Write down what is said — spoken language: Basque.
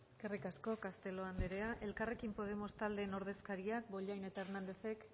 eskerrik asko castelo andrea elkarrekin podemos taldeen ordezkaria bollain eta hernándezek